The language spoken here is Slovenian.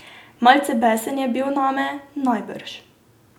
Malce besen je bil name, najbrž.